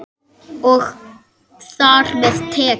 Og þar með tekjur.